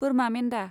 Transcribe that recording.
बोरमा मेन्दा